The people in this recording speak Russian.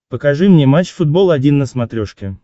покажи мне матч футбол один на смотрешке